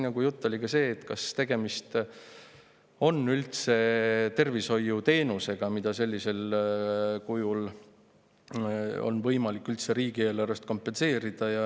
Juttu oli ka sellest, kas tegemist on üldse tervishoiuteenusega, mida sellisel kujul on võimalik riigieelarvest kompenseerida.